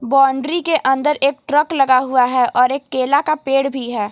Boundary के अंदर एक ट्रक लगा हुआ है और एक केला का पेड़ भी है।